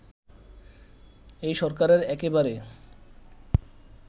এই সরকারের একেবারে